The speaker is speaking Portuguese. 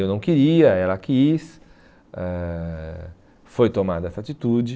Eu não queria, ela quis, eh foi tomada essa atitude.